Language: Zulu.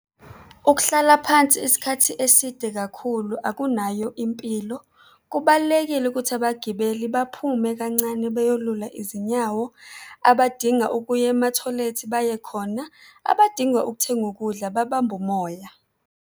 Ukuhlala phansi isikhathi eside kakhulu akunayo impilo. Kubalulekile ukuthi abagibeli baphume kancane beyolula izinyawo, abadinga ukuya emathoyilethi baye khona, abadinga ukuthenga ukudla babambe umoya.